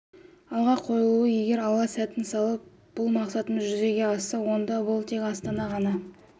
алға қойылуы егер алла сәтін салып бұл мақсатымыз жүзеге асса онда бұл тек астана ғана